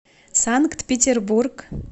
санкт петербург